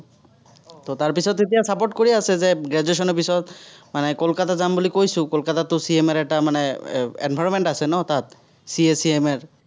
ত' তাৰপিছত এতিয়া support কৰি আছে যে graduation ৰ পিছত মানে কলকাতা যাম বুলি কৈছো, কলকাতাততো CMA ৰ মানে এৰ environment আছে ন তাত, CA, CMA ৰ।